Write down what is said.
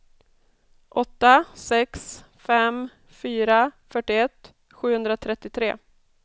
åtta sex fem fyra fyrtioett sjuhundratrettiotre